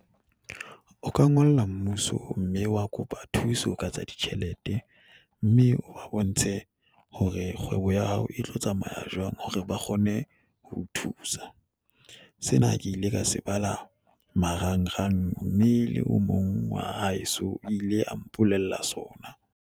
O ka ngolla mmuso mme wa kopa thuso ka tsa ditjhelete mme o ba bontshe hore kgwebo ya hao e tlo tsamaya jwang hore ba kgone ho o thusa. Sena ke ile ka se bala marangrang mme le o mong wa haeso ile a mpolella sona.